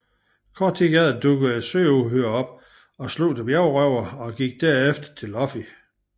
Kort efter dukkede et søuhyre op og slugte bjergrøveren og gik derefter efter Luffy